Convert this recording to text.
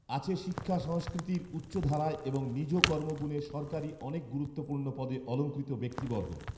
আছে শিক্ষা সংস্কৃতির উচ্চধারায় এবং নিজ কর্মগুণে সরকারি অনেক গুরুত্বপূর্ণ পদে অলংকিত ব্যক্তিবর্গ